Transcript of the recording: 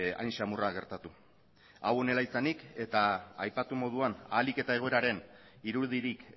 hain samurra gertatu hau honela izanik eta aipatu moduan ahalik eta egoeraren irudirik